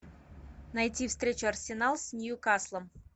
найти встречу арсенал с ньюкаслом